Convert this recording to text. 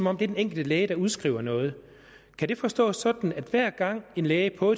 er den enkelte læge der udskriver noget kan det forstås sådan at hver gang en læge på